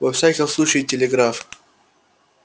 во всяком случае телеграф